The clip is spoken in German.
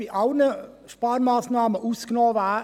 Aber dort hört das Verständnis bei uns auf: